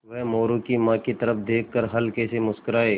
वह मोरू की माँ की तरफ़ देख कर हल्के से मुस्कराये